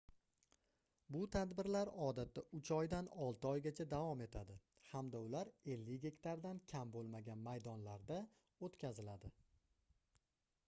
bu tadbirlar odatda uch oydan olti oygacha davom etadi hamda ular 50 gektardan kam boʻlmagan maydonlarda oʻtkaziladi